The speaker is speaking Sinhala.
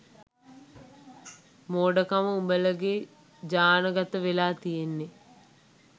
මෝඩකම උඹලගෙ ජානගතවෙලා තියෙන්නෙ